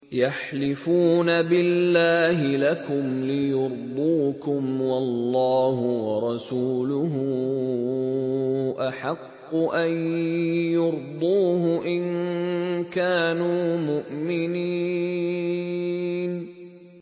يَحْلِفُونَ بِاللَّهِ لَكُمْ لِيُرْضُوكُمْ وَاللَّهُ وَرَسُولُهُ أَحَقُّ أَن يُرْضُوهُ إِن كَانُوا مُؤْمِنِينَ